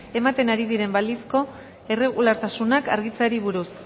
ematen ari diren balizko irregulartasunak argitzeari buruz